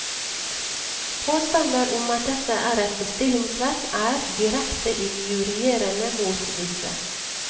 Påstander om at dette er et bestillingsverk, er direkte injurierende mot disse.